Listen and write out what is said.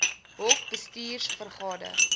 hoc bestuurs vergade